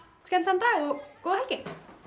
skemmtilegan dag og góða helgi